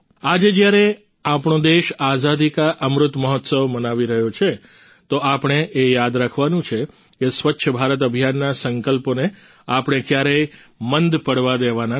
આજે જ્યારે આપણો દેશ આઝાદી કા અમૃત મહોત્સવ મનાવી રહ્યો છે તો આપણે એ યાદ રાખવાનું છે કે સ્વચ્છ ભારત અભિયાનના સંકલ્પોને આપણે ક્યારેય મંદ પડવા દેવાના નથી